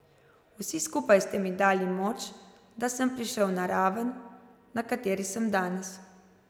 Vsi skupaj ste mi dali moč, da sem prišel na raven, na kateri sem danes.